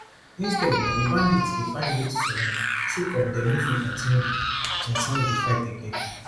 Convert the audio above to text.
instead na di bandits dey find way to surrender sake of dem no fit continue di continue di fight again